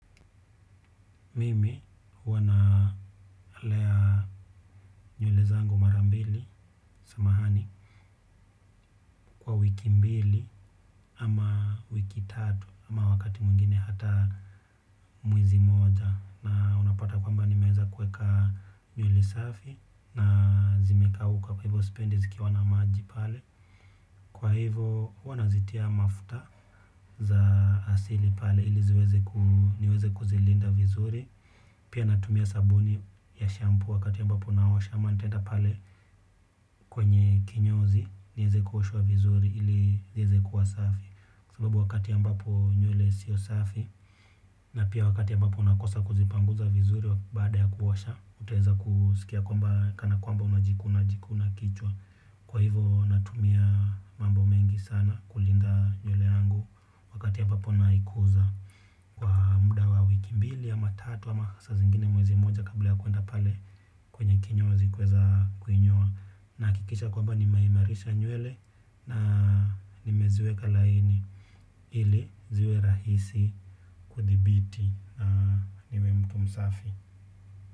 Mimi huwana lea nywele zangu marambili samahani kwa wiki mbili ama wiki tatu ama wakati mwingine hata mwezi moja na unapata kwamba ni meeza kuweka nywele safi na zimekauka kwa hivyo sipendi ziki wa na maji pale. Kwa hivo huwanazitia mafuta za asili pale ili ziweze ku niweze kuzilinda vizuri. Pia natumia sabuni ya shampoo wakati a mbapo naosha ama nitaenda pale kwenye kinyozi. Nieze kuoshwa vizuri ili ieze kuwasafi sababu wakati a mbapo nywele sio safi. Na pia wakati a mbapo unakosa kuzipanguza vizuri wa baada ya kuosha utaweza kuskia kwa mba kana kwamba unajikuna jikuna kichwa. Kwa hivo natumia mambo mengi sana kulinda nywele yangu wakati ambapo naikuza. Kwa mda wa wiki mbili ama tatu ama sa zingine mwezi moja kabla ya kwenda pale kwenye kinyo zi kuweza kuinyoa. Nahakikisha kwamba ni meimarisha nywele na nimeziweka laini ili ziwe rahisi kuthibiti na niwemtu msafi.